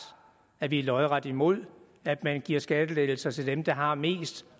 at vi er lodret imod at man giver skattelettelser til dem der har mest